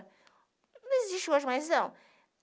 Não existe hoje mais, não.